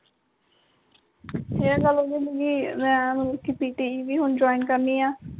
ਇਹ ਗੱਲ ਹੋ ਗਈ ਉ ਕਿ ਮੈਂ ਹੁਣ pt ਵੀ join ਕਰਨੀਆਂ